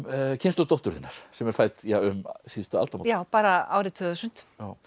kynslóð dóttur þinnar sem er fædd um síðustu aldamót já bara árið tvö þúsund